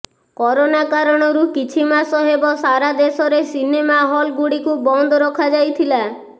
corona କାରଣରୁ କିଛି ମାସ ହେବ ସାରା ଦେଶରେ ସିନେମା ହଲ୍ଗୁଡ଼ିକୁ ବନ୍ଦ ରଖାଯାଇଥିଲା